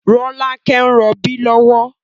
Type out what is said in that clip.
Rolake ń rọbí lọ́wọ́